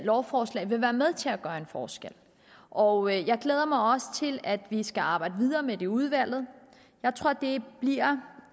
lovforslag vil være med til at gøre en forskel og jeg glæder mig også til at vi skal arbejde videre med dem i udvalget jeg tror at det bliver